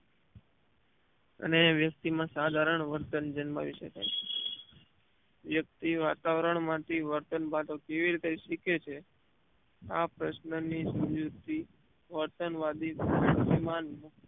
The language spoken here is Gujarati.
અને વ્યક્તિ માં સાધારણ વર્તન જન્માવી શકાય છે વ્યક્તિ વાતાવરણ માંથી વર્તન ભાતો કેવી રીતે શીખે છે આ પ્રશ્ન ની સમજુતી વર્તન વાદ સમયમાન